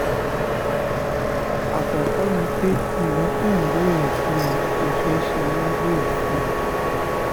àkọ́kọ́ ni pé nǹkan tẹ́ ẹ̀ ń béèrè fún yẹn kò ṣeé ṣe lábẹ́ òfin